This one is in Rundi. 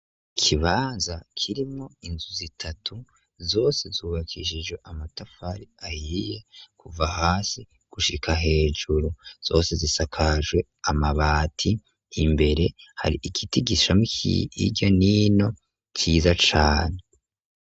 Ikibanza kirimwo inzu zitatu zose zubakishije amatafari ahiye kuva hasi gushika hejuru. Zose zisakajwe amabati imbere hari igiti gishamwo irya n'ino ciza cane.